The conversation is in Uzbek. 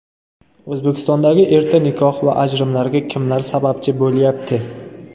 O‘zbekistondagi erta nikoh va ajrimlarga kimlar sababchi bo‘lyapti?.